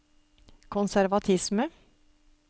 konservatisme